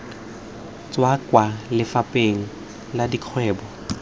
tswa kwa lefapheng la dikgwebo